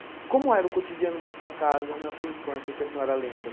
E como era o cotidiano da sua casa na sua infância, que a senhora lembra?